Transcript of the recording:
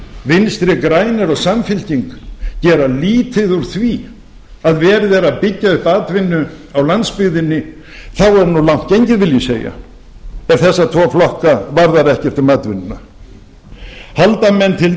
vinstri grænir og samfylking gera lítið úr því að verið er að byggja upp atvinnu á landsbyggðinni þá er nú langt gengið vil ég segja ef þessa tvo flokka varðar ekkert um atvinnuna halda menn til